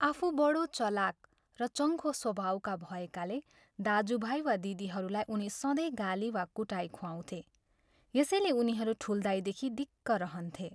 आफू बढो चलाक र चङ्खो स्वभावका भएकाले दाज्युभाइ वा दिदीहरूलाई उनी सधैँ गाली वा कुटाइ खुवाउँथे, यसैले उनीहरू 'ठुल्दाइ' देखि दिक्क रहन्थे।